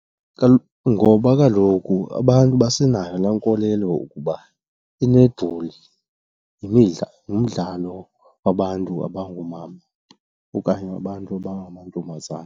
Ngoba kaloku abantu basenayo la nkolelo yokuba i-netball ngumdlalo wabantu abangoomama okanye wabantu abangamantombazana.